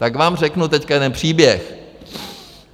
Tak vám řeknu teď jeden příběh.